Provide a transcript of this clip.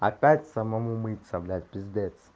опять самому мыться блять пиздец